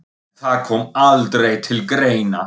En það kom aldrei til greina.